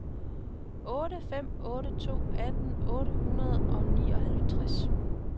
otte fem otte to atten otte hundrede og nioghalvtreds